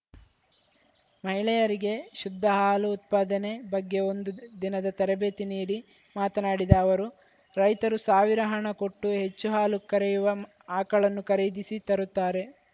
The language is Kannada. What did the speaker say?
ಮಹಿಳೆಯರಿಗೆ ಶುದ್ಧ ಹಾಲು ಉತ್ಪಾದನೆ ಬಗ್ಗೆ ಒಂದು ದಿನದ ತರಬೇತಿ ನೀಡಿ ಮಾತನಾಡಿದ ಅವರು ರೈತರು ಸಾವಿರ ಹಣ ಕೊಟ್ಟು ಹೆಚ್ಚು ಹಾಲು ಕರೆಯುವ ಆಕಳನ್ನು ಖರೀದಿಸಿ ತರುತ್ತಾರೆ